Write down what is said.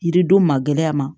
Yiridenw magɛ ma